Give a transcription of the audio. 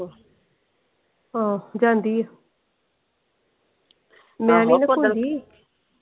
ਆਹ ਜਾਂਦੀ ਆ